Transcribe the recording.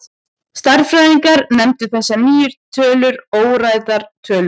Stærðfræðingar nefndu þessar nýju tölur óræðar tölur.